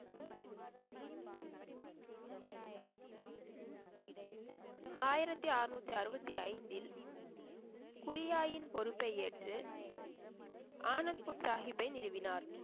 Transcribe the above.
ஆயிரத்தி அறுநூத்தி அறுவத்தி ஐந்தில், குரியாயின் பொறுப்பை ஏற்று, ஆனந்த்பூர் சாஹிப்பை நிறுவினார்.